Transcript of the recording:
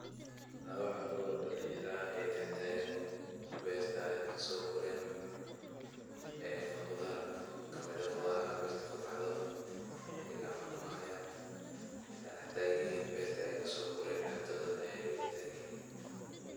Lawo caruur eh oo dalinyaro oo dhextagan ber ey kasoguren qudar aye dhextaganyihin.